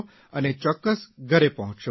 અને ચોક્કસ ઘરે પહોંચશો